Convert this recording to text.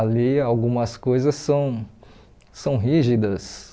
Ali algumas coisas são são rígidas.